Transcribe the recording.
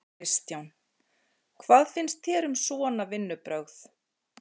Kristján: Hvað finnst þér um svona vinnubrögð?